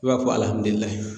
I b'a fɔ